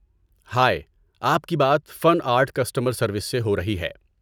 ہائے، آپ کی بات فن آرٹ کسٹمر سروس سے ہو رہی ہے۔